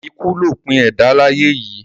Ikú lòpin ẹ̀dá láyé yìí.